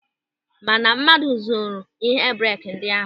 Mana mmadụ zuru ịhe breeki ndị ahụ.